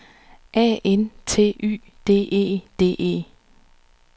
A N T Y D E D E